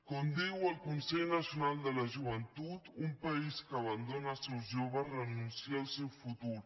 com diu el consell nacional de la joventut un país que abandona els seus joves renuncia al seu futur